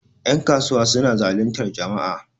yankasuwa suna zalintar jama'a